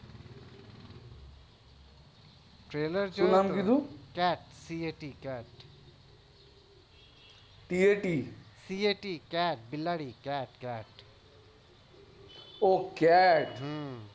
trailer જોયું શું નામ કીધું cat બિલાડી ઓહ્હ cat